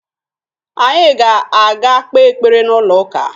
Anyị ga-aga kpee ekpere n'ụlọụka